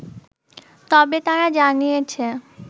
তবে, তারা জানিয়েছে